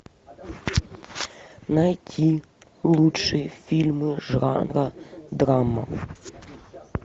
найти лучшие фильмы жанра драма